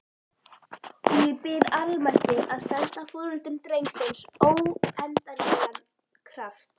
Og ég bið almættið að senda foreldrum drengsins óendanlegan kraft.